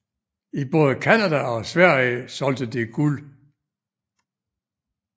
I både Canada og Sverige solgte det guld